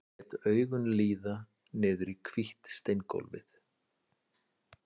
Lét augun líða niður í hvítt steingólfið.